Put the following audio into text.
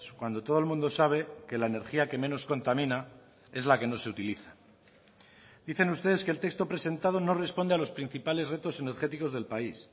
cuando todo el mundo sabe que la energía que menos contamina es la que no se utiliza dicen ustedes que el texto presentado no responde a los principales retos energéticos del país